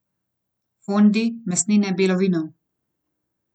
Fondi, mesnine, belo vino.